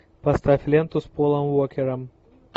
поставь ленту с полом уокером